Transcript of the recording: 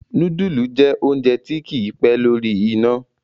nudulu jẹ oúnjẹ tí kí pé lórí iná.